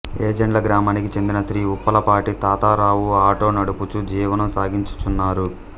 వేజెండ్ల గ్రామానికి చెందిన శ్రీ ఉప్పలపాటి తాతారావు ఆటో నడుపుచూ జీవనం సాగించుచున్నారు